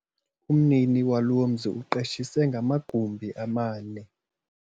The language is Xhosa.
Umnini walo mzi uqeshise ngamagumbi amane.